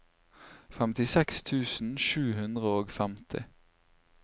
femtiseks tusen sju hundre og femti